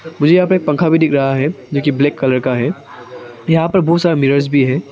मुझे यहां पे एक पंखा दिख रहा है जो की ब्लैक कलर का है यहां पर बहुत सारे मिरर्स भी है।